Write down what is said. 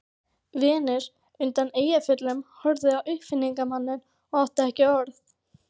Venus undan Eyjafjöllum horfði á uppfinningamanninn og átti ekki orð.